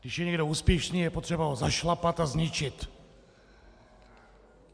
Když je někdo úspěšný, je potřeba ho zašlapat a zničit!